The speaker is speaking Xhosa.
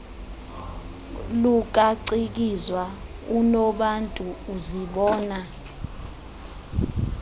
lukacikizwa unobantu uzibona